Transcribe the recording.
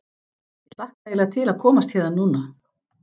Ég hlakka eiginlega til að komast héðan núna.